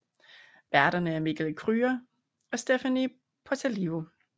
Værterne er Mikkel Kryger og Stephania Potalivo